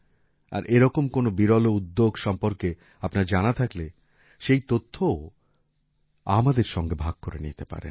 আর এরকম কোন বিরল উদ্যোগ সম্পর্কে আপনার জানা থাকলে সেই তথ্যও আমার সঙ্গে ভাগ করে নিতে পারেন